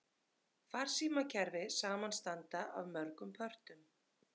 Farsímakerfi samanstanda af mörgum pörtum.